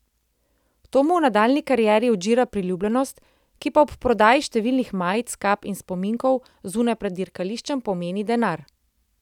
To mu v nadaljnji karieri odžira priljubljenost, ki pa ob prodaji številnih majic, kap in spominkov zunaj pred dirkališčem pomeni denar.